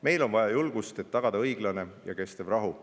Meilt on vaja julgust, et tagada õiglane ja kestev rahu.